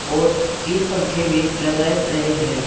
और तीन पंखे भी लगाए रहे हैं।